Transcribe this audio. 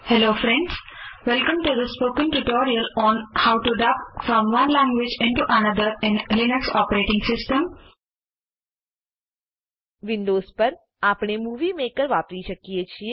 Windowsવિન્ડોઝ પર આપણે movie maker movie maker વાપરી શકીએ છે